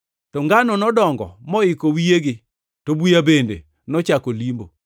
Ka ngano nodongo moiko wiyegi to buya bende nochako limbo.